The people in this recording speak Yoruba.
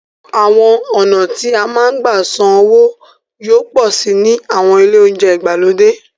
Àwọn ọ̀nà tí a máa ń gbà san owó yóò pọ̀ síi ní àwọn ilé oúnjẹ ìgbàlódé.